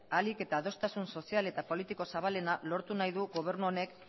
ahalik eta adostasun sozial eta politiko zabalena lortu nahi du gobernu honek